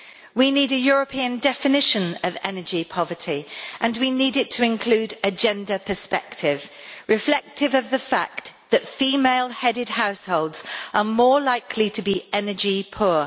We need a European definition of energy poverty and we need it to include a gender perspective, reflective of the fact that female headed households are more likely to be energy poor.